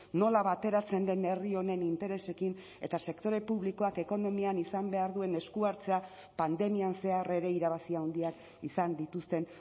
nola bateratzen den herri honen interesekin eta sektore publikoak ekonomian izan behar duen esku hartzea pandemian zehar ere irabazi handiak izan dituzten